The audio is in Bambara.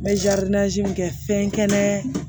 N bɛ min kɛ fɛn kɛnɛ